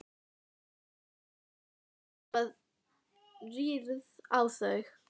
Karolína spákona, forspá fróð og gagnmerk sómakona.